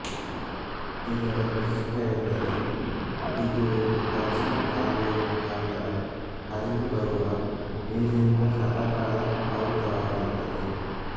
ಇದರ ವಿಶಿಷ್ಟತೆಯೆಂದರೆ ಇದು ಒಂದು ಪ್ರಾಚೀನ ಕಾಲುವೆಯ ಮುಖಾಂತರ ಹರಿದು ಬರುವ ನೀರಿನಿಂದ ಸದಾಕಾಲ ಆವೃತವಾಗಿರುತ್ತದೆ